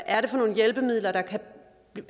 er for nogle hjælpemidler